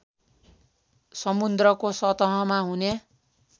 समुद्रको सतहमा हुने